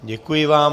Děkuji vám.